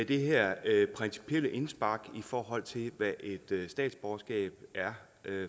det her principielle indspark i forhold til hvad et statsborgerskab er